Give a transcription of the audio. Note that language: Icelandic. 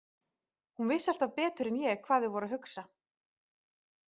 Hún vissi alltaf betur en ég hvað þau voru að hugsa.